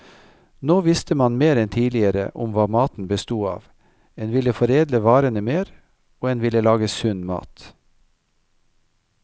Nå visste man mer enn tidligere om hva maten bestod av, en ville foredle varene mer, og en ville lage sunn mat.